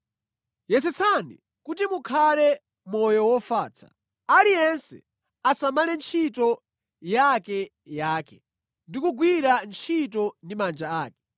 Yesetsani kuti mukhale moyo wofatsa. Aliyense asamale ntchito yakeyake ndi kugwira ntchito ndi manja ake.